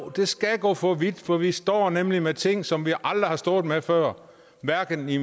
det skal gå for vidt for vi står nemlig med ting som vi aldrig har stået med før hverken i